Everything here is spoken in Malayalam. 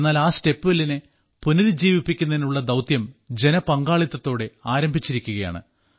എന്നാൽ ആ സ്റ്റെപ്വെല്ലിനെ പുനരുജ്ജീവിപ്പിക്കുന്നതിനുള്ള ദൌത്യം ജനപങ്കാളിത്തത്തോടെ ആരംഭിച്ചിരിക്കുകയാണ്